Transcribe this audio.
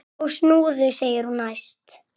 Og snúða! segir hún æst.